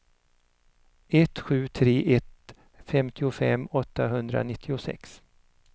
ett sju tre ett femtiofem åttahundranittiosex